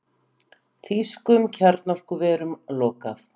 Þýskum kjarnorkuverum lokað